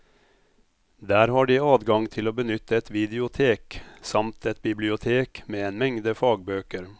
Der har de adgang til å benytte et videotek, samt et bibliotek med en mengde fagbøker.